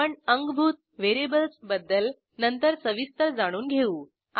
आपण अंगभूत व्हेरिएबल्स बद्दल नंतर सविस्तर जाणून घेऊ